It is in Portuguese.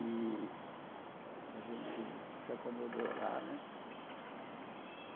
E a gente se acomodou lá né.